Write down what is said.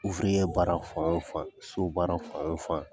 baara fan o fan so baara fan o fan.